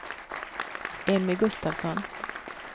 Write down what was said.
Emmy Gustafsson